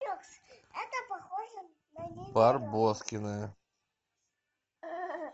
барбоскины